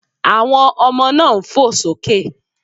Àwọn ọmọ náà ń fò sókè.